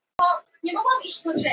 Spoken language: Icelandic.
Jörmundur, hvað heitir þú fullu nafni?